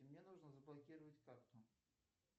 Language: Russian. мне нужно заблокировать карту